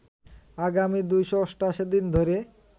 আগামী ২৮৮ দিন ধরে